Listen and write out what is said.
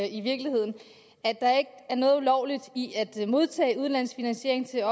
i virkeligheden at der ikke er noget ulovligt i at modtage udenlandsk finansiering til